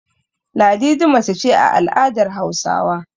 Ladidi mace ce a al'adar Hausawa.